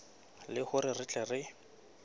le hore re tle re